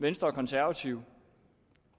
venstre og konservative